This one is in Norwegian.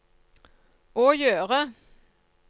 å gjøre